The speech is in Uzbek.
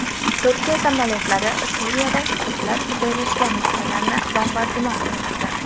Turkiya samolyotlari Suriyada kurdlar joylashgan nuqtalarni bombardimon qilmoqda.